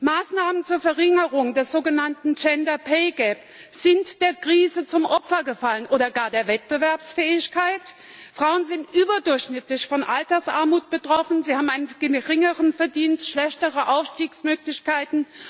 Maßnahmen zur Verringerung des sogenannten gender pay gap sind der Krise zum Opfer gefallen oder gar der Wettbewerbsfähigkeit? Frauen sind überdurchschnittlich von Altersarmut betroffen, sie haben einen geringeren Verdienst, schlechtere Aufstiegsmöglichkeiten.